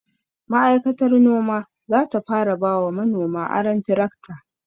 Ma'aikatar noma zata fara bawa manoma aron tirakta